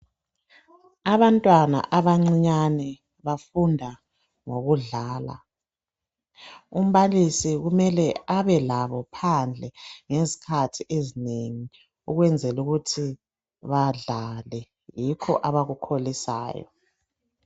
Abantwana abancinyane bafunda ngokudlala umbalisi kumele abelabo phandle ngezikhathi ezinengi ukwenzela ukuthi badlale yikho abakukholisayo.